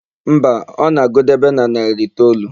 Mba, ọ na-agụdebe na narị itoolu.